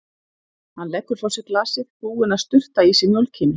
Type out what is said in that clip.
Hann leggur frá sér glasið, búinn að sturta í sig mjólkinni.